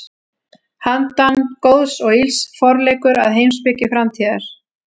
Handan góðs og ills: Forleikur að heimspeki framtíðar.